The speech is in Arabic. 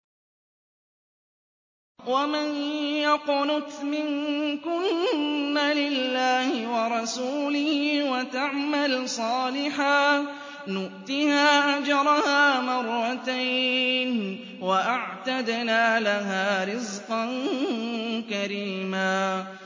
۞ وَمَن يَقْنُتْ مِنكُنَّ لِلَّهِ وَرَسُولِهِ وَتَعْمَلْ صَالِحًا نُّؤْتِهَا أَجْرَهَا مَرَّتَيْنِ وَأَعْتَدْنَا لَهَا رِزْقًا كَرِيمًا